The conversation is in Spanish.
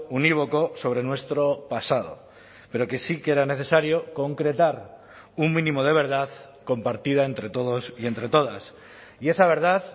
unívoco sobre nuestro pasado pero que sí que era necesario concretar un mínimo de verdad compartida entre todos y entre todas y esa verdad